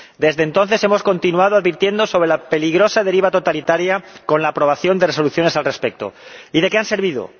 Desde entonces hemos continuado advirtiendo sobre la peligrosa deriva totalitaria con la aprobación de resoluciones al respecto, y ¿de qué ha servido?